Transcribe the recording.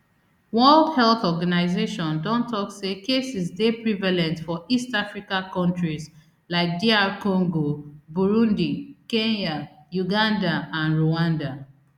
world health organization don tok say cases dey prevalent for east africa kontris like dr congo burundi kenya uganda and rwanda